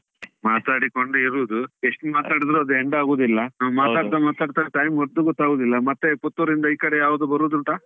ಮಾತಾಡಿಕೊಂಡು ಇರುದು, ಎಷ್ಟು ಮಾತಾಡಿದ್ರೂ ಅದು end ಆಗುದಿಲ್ಲ ನಾವು ಮಾತಾಡ್ತಾ ಮಾತಾಡ್ತಾ time ಹೊದ್ದು ಗೊತ್ತಾಗುದಿಲ್ಲ ಮತ್ತೆ ಪುತ್ತೂರಿಂದ ಈಕಡೆ ಯಾವಾಗ ಬರುದುಂಟಾ?